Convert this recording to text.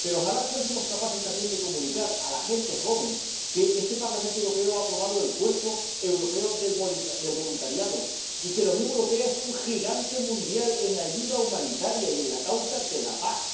Pero ojalá fuésemos capaces también de comunicar a la gente joven que este Parlamento Europeo ha aprobado el cuerpo europeo del voluntariado y que la Unión Europea es un gigante mundial en ayuda humanitaria y en la causa de la paz